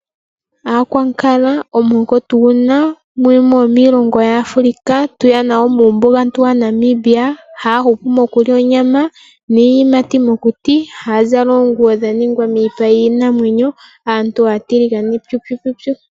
Aakwankala, omuhoko tu guna muyimwe yomiilongo yaAfrika, tuyana woo muumbugantu wa Namibia, haya hupu moku lya onyama niiyimati mokuti, haya zala oonguwo dha ningwa miipa yiinamwenyo, aantu aatiligane pyupyupyupyu.